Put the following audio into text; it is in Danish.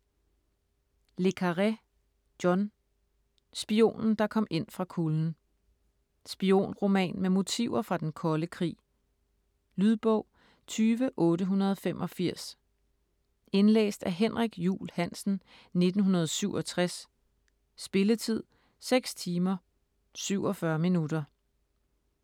Le Carré, John: Spionen der kom ind fra kulden Spionroman med motiver fra den kolde krig. Lydbog 20885 Indlæst af Henrik Juul Hansen, 1967. Spilletid: 6 timer, 47 minutter.